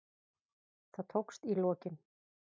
Það tókst í lokin.